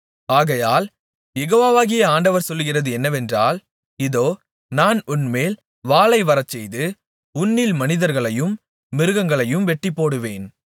ஆகையால் யெகோவாகிய ஆண்டவர் சொல்லுகிறது என்னவென்றால் இதோ நான் உன்மேல் வாளை வரச்செய்து உன்னில் மனிதர்களையும் மிருகங்களையும் வெட்டிப்போடுவேன்